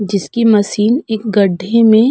जिसकी मशीन एक गड्ढे में --